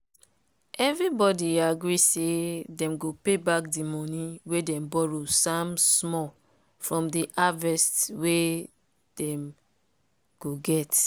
everybody agree say dem go pay back de money wey dem borrow samm small from the haverst wey dem go get.